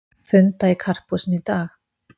Funda í Karphúsinu í dag